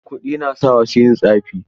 Kuɗi na sa wasu yin tsafi.